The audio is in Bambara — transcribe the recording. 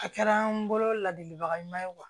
A kɛra an bolo ladilibaga ɲuman ye